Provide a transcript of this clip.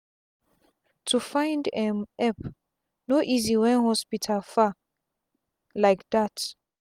to find um epp no easy wen hospital far lyk dat